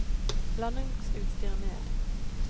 landingsutstyr ned